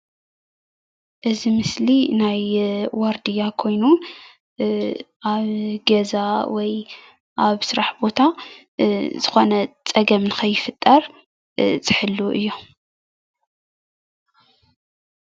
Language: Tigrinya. እዚ ምስሊ ናይ ዋርዲያ ኮይኑ አብ ገዛ ወይ አብ ስራሕ ቦታ ዝኮነ ፀገም ንከይፍጠር ዝሕልዉ እዮም፡፡